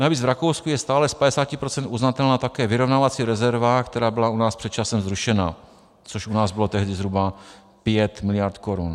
Navíc v Rakousku je stále z 50 % uznatelná také vyrovnávací rezerva, která byla u nás před časem zrušena, což u nás bylo tehdy zhruba 5 mld. korun.